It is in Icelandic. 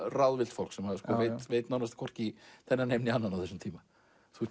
ráðvillt fólk og vita nánast hvorki í þennan heim né annan á þessum tíma